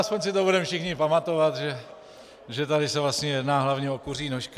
Aspoň si to budeme všichni pamatovat, že tady se vlastně jedná hlavně o kuří nožky.